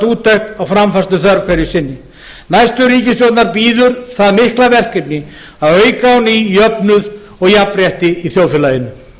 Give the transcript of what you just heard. úttekt á framfærsluþörf hverju sinni næstu ríkisstjórnar bíður það mikla verkefni að auka á ný jöfnuð og jafnrétti í þjóðfélaginu